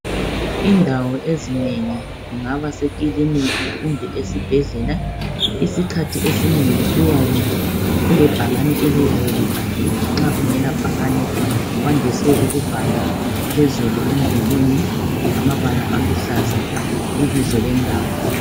Indawo ezinengi kungaba kusekiliniki kumbe esibhedlela isikhathi esinengi kuyabe kulebhakani eliyabe libhaliwe nxa kungela bhakani kwandise ukubhala phezulu emdulini ngamabala aluhlaza ibizo lendawo.